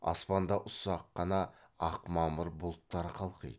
аспанда ұсақ қана ақ мамыр бұлттар қалқиды